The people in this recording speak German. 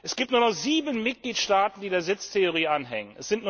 Es gibt nur noch sieben Mitgliedstaaten, die der Sitztheorie anhängen.